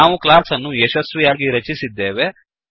ನಾವು ಕ್ಲಾಸ್ ಅನ್ನು ಯಶಸ್ವಿಯಾಗಿ ರಚಿಸಿದ್ದೇವೆ